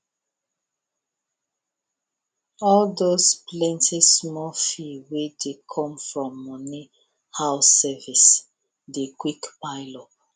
all those plentysmall fee wey dey come from money house service dey quick pile up